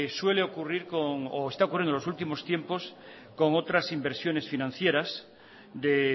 suele ocurrir o está ocurriendo en los últimos tiempos con otras inversiones financieras de